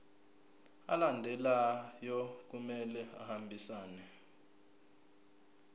alandelayo kumele ahambisane